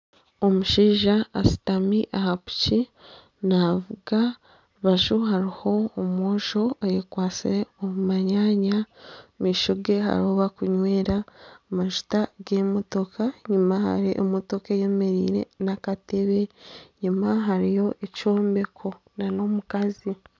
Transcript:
Omushaija ashutami aha piki naavuga aha rubaju hariho omwojo ayekwatsire omu manyanya omu maisho ge hariho ahu barikunywera amajuta g'emotoka enyima hariyo emotoka eyemereire n'akatebe enyima hariyo ekyombeko nana omukazi